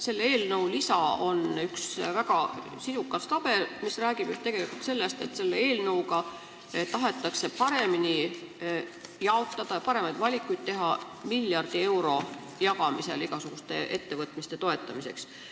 Selle eelnõu lisa on üks väga sisukas tabel, mis räägib tegelikult just sellest, et eelnõuga tahetakse teha paremaid valikuid miljardi euro jagamisel igasuguste ettevõtmiste toetamiseks.